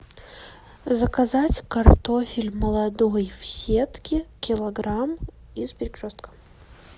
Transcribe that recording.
заказать картофель молодой в сетке килограмм из перекрестка